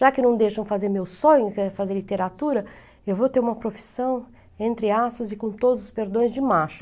Já que não deixam fazer meu sonho, que é fazer literatura, eu vou ter uma profissão entre aços e com todos os perdões de macho.